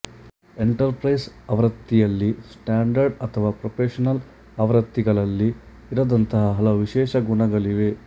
enter price ಆವೃತ್ತಿಯಲ್ಲಿ standard ಅಥವಾ professional ಆವೃತ್ತಿಗಳಲ್ಲಿ ಇರದಂತಹ ಹಲವು ವಿಶೇಷ ಗುಣಗಳಿವೆ